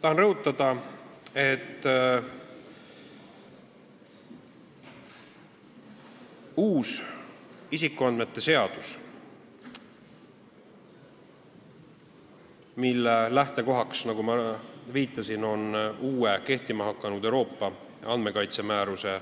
Tahan rõhutada, et uue isikuandmete seaduse lähtekoht, nagu ma viitasin, on uue, kehtima hakanud Euroopa andmekaitsemääruse